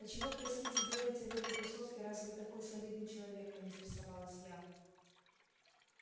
а чего простите делаете в этой тусовке раз вы такой солидный человек поинтересовалась я